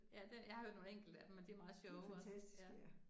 Ja det, jeg har hørt nogle enkelte af dem, men de meget sjove også ja